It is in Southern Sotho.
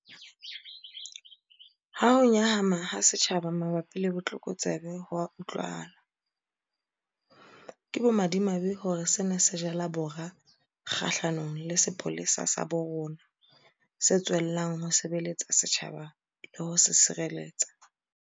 Ha ho nyahama ha setjhaba mabapi le botlokotsebe ho utlwahala, ke bomadimabe hore sena se jala bora kgahlanong le sepolesa sa bo rona, se tswellang ho sebeletsa setjhaba le ho se sireletsa.